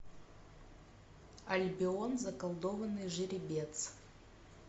альбион заколдованный жеребец